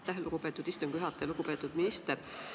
Aitäh, lugupeetud istungi juhataja!